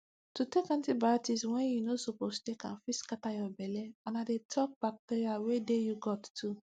to dey take antibiotics when you no suppose take am fit scatter your belle and i dey talk bacteria wey dey you gut too